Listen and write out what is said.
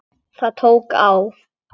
Það tók á.